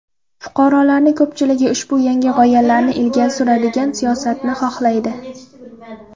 Fuqarolarni ko‘pchiligi ushbu yangi g‘oyalarni ilgari suradigan siyosatni xohlaydi.